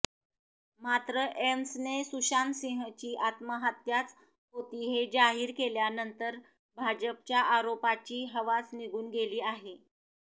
मात्र एम्सने सुशांत सिंहची आत्महत्याच होती हे जाहीर केल्यानंतर भाजपच्या आरोपाची हवाच निघून गेली आहे